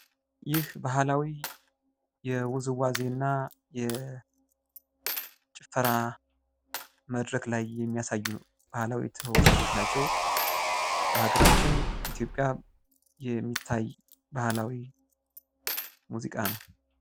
ይህ ባህላዊ የ ውዝዋዜ እና የጭፈራ መድረክ ላይ የሚያሳዩ ባህላዊ ተወዛዋዦች ናቸው። በሃገራችን ኢትዮጵያ የሚታይ ባህላዊ ሙዚቃ ነው።